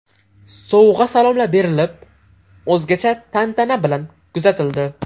Sovg‘a-salomlar berilib, o‘zgacha tantana bilan kuzatildi.